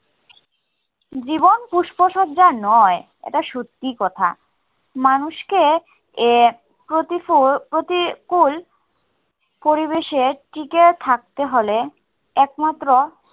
জীবন পুষ্পসজ্জা নয়, এটা সত্যিই কথা। মানুষকে এ প্রতিকূল পরিবেশে টিকে থাকতে হলে একমাত্র